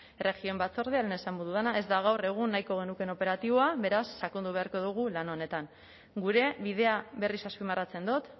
batzordean lehen esango dudana ez da gaur egun nahiko genukeen operatiboa beraz sakondu beharko dugu lan honetan gure bidea berriz azpimarratzen dut